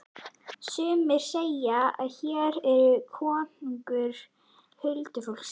Sumir segðu að hér væri konungur huldufólksins.